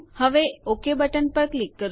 હવે OK button ઉપર click કરો